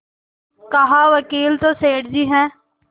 कहावकील तो सेठ जी हैं